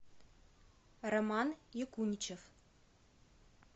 роман якуничев